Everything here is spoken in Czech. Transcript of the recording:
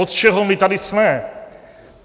Od čeho my tady jsme?